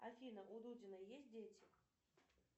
афина у дудина есть дети